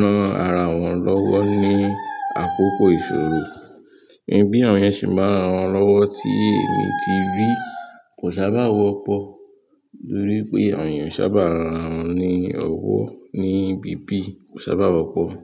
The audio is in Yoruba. ran ara wọn lọ́wọ́ ní àkókò ìṣòro? Ìbí àwọn ènìyàn ṣe ń bá ara wọn lọ́wọ́ tí èmi ti rí kò sábà wọ́pọ̀ torí pé ènìyàn sábà ran ni ọwọ́ ní ibi bí kò sábà wọ́pọ̀